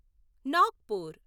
Nagpur